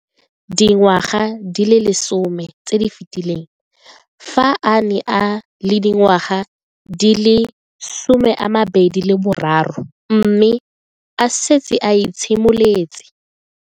Dingwaga di le 10 tse di fetileng, fa a ne a le dingwaga di le 23 mme a setse a itshimoletse